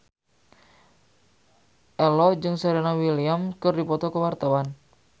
Ello jeung Serena Williams keur dipoto ku wartawan